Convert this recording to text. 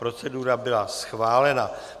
Procedura byla schválena.